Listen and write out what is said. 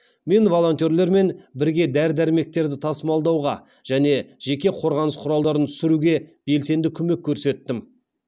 мен волонтерлермен бірге дәрі дәрмектерді тасымалдауға және жеке қорғаныс құралдарын түсіруге белсенді көмек көрсеттім